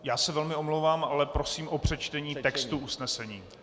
Já se velmi omlouvám, ale prosím o přečtení textu usnesení.